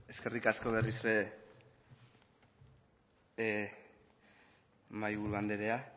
eskerrik asko berriz ere mahaiburu anderea